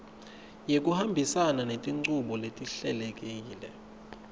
ngekuhambisana netinchubo letihlelekile